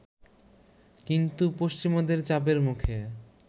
কিন্তু পশ্চিমাদের চাপের মুখে